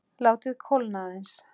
Látið kólna aðeins.